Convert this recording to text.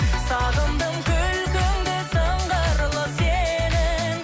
сағындым күлкіңді сыңғырлы сенің